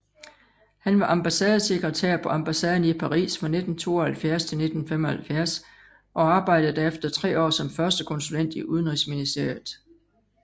Han var ambassadesekretær på ambassaden i Paris fra 1972 til 1975 og arbejdede derefter tre år som førstekonsulent i Udenrigsministeriet